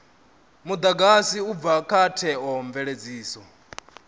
mudagasi u bva kha theomveledziso